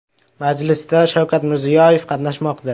Majlisda Shavkat Mirziyoyev qatnashmoqda.